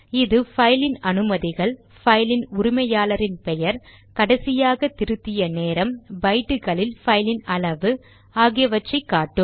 இது பைலின் அனுமதிகள் பைலின் உரிமையாளரின் பெயர் கடைசியாக திருத்திய நேரம் பைட்டுகளில் பைலின் அளவு ஆகியவற்றை காட்டும்